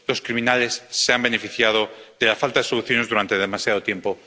Los criminales se han beneficiado de la falta de soluciones durante demasiado tiempo.